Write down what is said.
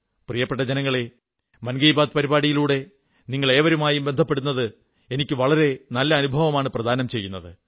പ്രിയപ്പെട്ട ജനങ്ങളേ മൻ കീ ബാത് പരിപാടിയിലൂടെ നിങ്ങളേവരുമായും ബന്ധപ്പെടുന്നത് എനിക്ക് വളരെ നല്ല അനുഭവമാണ് പ്രദാനം ചെയ്യുന്നത്